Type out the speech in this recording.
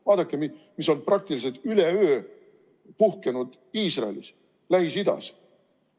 Vaadake, mis on praktiliselt üleöö puhkenud Iisraelis, Lähis-Idas.